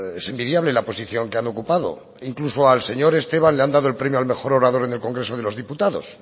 es envidiable la posición que han ocupado e incluso al señor esteban le han dado el premio al mejor orador en el congreso de los diputados